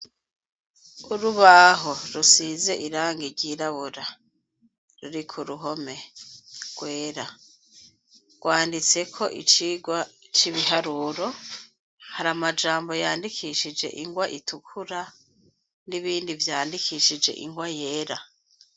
Urubaho rusize irangi ry'irabura ruri ku ruhome rwera rwanditseko icirwa ci biharuro hari amajambo yandikishije ingwa itukura n'ibindi vyandikishije ingwa yera.